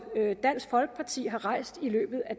dansk folkeparti har rejst i løbet af